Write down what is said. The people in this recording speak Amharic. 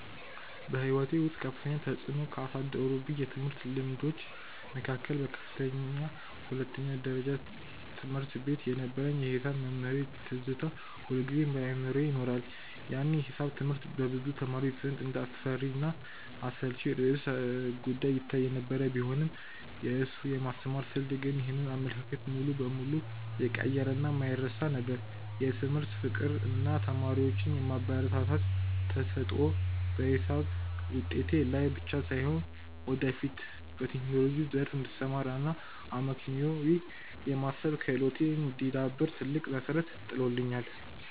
በሕይወቴ ውስጥ ከፍተኛ ተፅዕኖ ካሳደሩብኝ የትምህርት ልምዶች መካከል በከፍተኛ ሁለተኛ ደረጃ ትምህርት ቤት የነበረኝ የሒሳብ መምህሬ ትዝታ ሁልጊዜም በአእምሮዬ ይኖራል። ያኔ ሒሳብ ትምህርት በብዙ ተማሪዎች ዘንድ እንደ አስፈሪና አሰልቺ ርዕሰ-ጉዳይ ይታይ የነበረ ቢሆንም፣ የእሱ የማስተማር ስልት ግን ይህንን አመለካከት ሙሉ በሙሉ የቀየረና የማይረሳ ነበር። የትምህርት ፍቅር እና ተማሪዎቹን የማበረታታት ተሰጥኦ በሒሳብ ውጤቴ ላይ ብቻ ሳይሆን፣ ወደፊት በቴክኖሎጂው ዘርፍ እንድሰማራ እና አመክንዮአዊ የማሰብ ክህሎቴ እንዲዳብር ትልቅ መሠረት ጥሎልኛል።